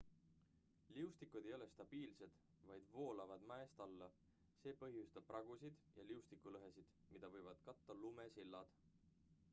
liustikud ei ole stabiilsed vaid voolavad mäest alla see põhjustab pragusid ja liustikulõhesid mida võivad katta lumesillad